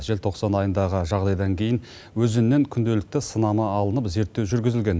желтоқсан айындағы жағдайдан кейін өзеннен күнделікті сынама алынып зерттеу жүргізілген